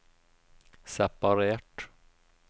separert